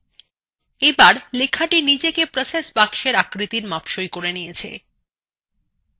লেখাটি নিজেকে process box আকৃতির মাপসই করে নিয়েছে !